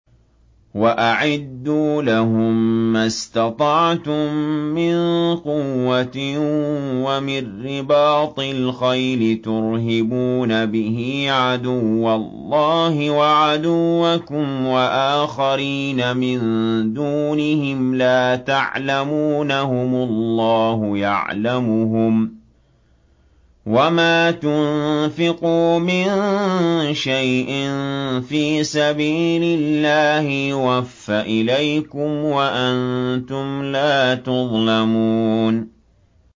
وَأَعِدُّوا لَهُم مَّا اسْتَطَعْتُم مِّن قُوَّةٍ وَمِن رِّبَاطِ الْخَيْلِ تُرْهِبُونَ بِهِ عَدُوَّ اللَّهِ وَعَدُوَّكُمْ وَآخَرِينَ مِن دُونِهِمْ لَا تَعْلَمُونَهُمُ اللَّهُ يَعْلَمُهُمْ ۚ وَمَا تُنفِقُوا مِن شَيْءٍ فِي سَبِيلِ اللَّهِ يُوَفَّ إِلَيْكُمْ وَأَنتُمْ لَا تُظْلَمُونَ